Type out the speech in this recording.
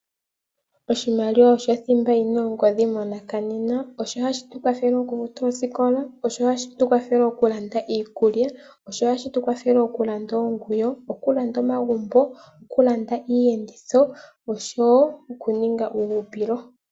Oshimaliwabosho thimba yi na ongodhi monakanenena. Osho hashi tukwathele okufuta osikola, osho hashi tukwathele okulanda iikulya, osho hashi tukwathele okulanda oonguwo, okulanda omagumbo, okulanda iiyenditho osho wo okuninga uuhupilo.